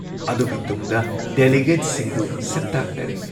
ꯑꯗꯨꯒꯤ ꯇꯨꯡꯗ ꯗꯦꯂꯤꯒꯦꯠꯁꯤꯡꯗꯨ ꯁꯛꯇꯥꯛꯅꯔꯦ ꯫